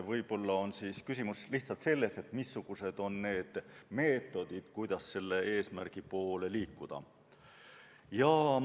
Võib-olla on küsimus lihtsalt selles, missugused on meetodid ja kuidas selle eesmärgi poole liikuda.